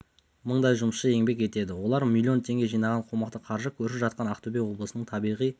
мыңдай жұмысшы еңбек етеді олар млн теңге жинаған қомақты қаржы көрші жатқан ақтөбе облысының табиғи